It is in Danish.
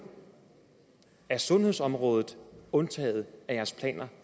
er sundhedsområdet undtaget jeres planer